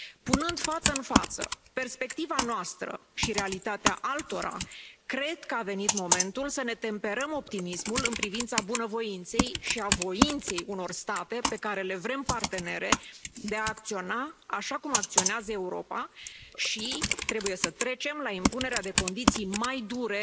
Punând față în față perspectiva noastră și realitatea altora, cred că a venit momentul să ne temperăm optimismul în privința bunăvoinței și a voinței unor state pe care le vrem partenere de a acționa așa cum acționează Europa și trebuie să trecem la impunerea de condiții mai dure